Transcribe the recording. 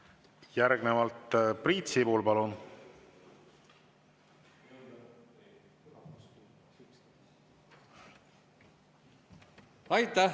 Järgnevalt Priit Sibul, palun!